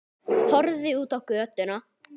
Horfði út á götuna.